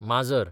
माजर